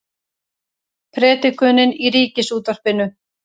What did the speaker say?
Predikunin í Ríkisútvarpinu